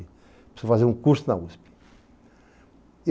Preciso fazer um curso na USP.